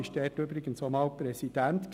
Dort war er übrigens auch einmal Präsident.